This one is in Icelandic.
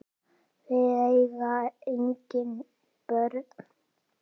Við eiga engin börn.